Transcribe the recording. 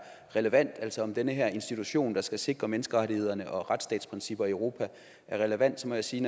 relevant altså om den her institution der skal sikre menneskerettighederne og retstatsprincipper i europa er relevant så må jeg sige